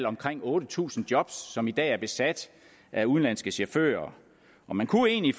omkring otte tusind job som i dag er besat af udenlandske chauffører man kunne egentlig